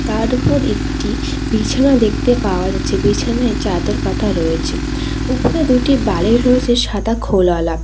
আর উপর একটি বিছানা দেখতে পাওয়া যাচ্ছে বিছানায় চাদর পাতা রয়েছে উপরে দুটি বালিশ রয়েছে সাদা খোল ওয়ালা।